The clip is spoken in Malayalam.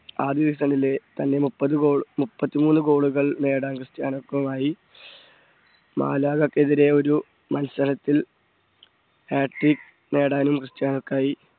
ആദ്യ season ലെ തൻറെമുപ്പത് goal മുപ്പത്തി മൂന്ന് goal കൾ നേടാൻ ക്രിസ്റ്റ്യാനോയ്ക്ക് ആയി മാലാഖയ്ക്കെതിരെ ഒരു മത്സരത്തിൽ harttick നേടാനും ക്രിസ്റ്റ്യാനോയിക്കായി